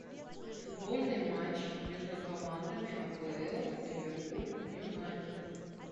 футбольный матч между командами апл ливерпуль юнайтед